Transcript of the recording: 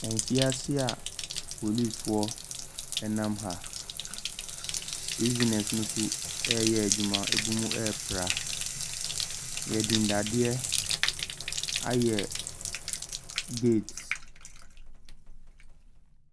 Kyineesefo a ɔmo te bot so. Ɔmo nyinaa etwa wɔn ani ɛhwɛ faako. Ebinom apagya ɔmo nsa a ɔmo weevi. Ebinom nso eyi kyɛ a ɛhyɛ wɔn ti a ɔmo de weevi.